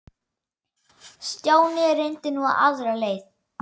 Stjáni reyndi nú aðra leið.